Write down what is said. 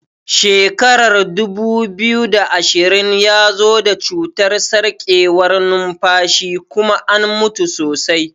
Shekarar dubu biyu da ashirin ya zo da cutar sarkewar nunfashi kuma an mutu sosai.